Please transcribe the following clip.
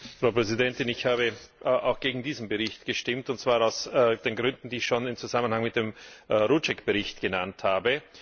Frau Präsidentin! Ich habe auch gegen diesen Bericht gestimmt, und zwar aus den Gründen, die ich schon im Zusammenhang mit dem Rouček Bericht genannt habe.